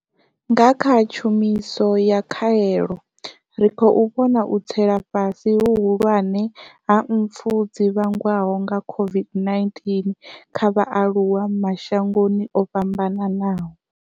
Nga kha tshumiso ya khaelo, ri khou vhona u tsela fhasi hu hulwane ha mpfu dzi vhangwaho nga COVID-19 kha vhaaluwa mashangoni o fhambanaho.